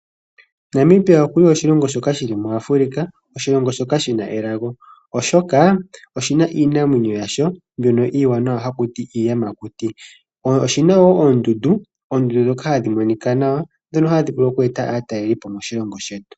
Namibia okuli oshilongo shoka shili muAfrika. Oshilongo shoka shina elago oshoka, oshina iinamwenyo yasho mbyono iiwanawa hakuti iitamakuti. Oshina woo oondundu ndhoka hadhimonika nawa, hadhi vulu oku eta aatalelipo moshilongo shetu.